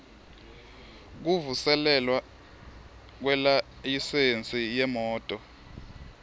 kuvuselelwa kwelayisensi yemoti